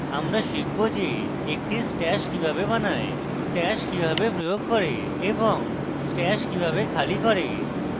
আমরা শিখব যে